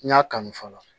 N y'a kanu fɔlɔ